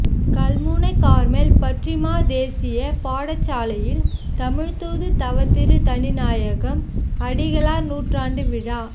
Kalmunai Carmel பற்றிமாதேசிய பாடசாலையில் தமிழ்தூது தவத்திரு தனிநாயகம் அடிகளார் நூற்றாண்டுவிழா